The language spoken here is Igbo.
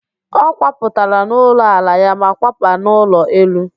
Ọ kwapụtara n'ụlọ ala ya ma kwaba n'ụlọ elu